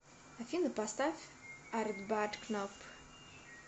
афина поставь артбат кнап